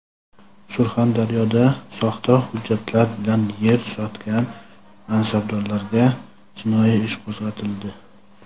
Surxondaryoda soxta hujjatlar bilan yer "sotgan" mansabdorlarga jinoyat ishi qo‘zg‘atildi.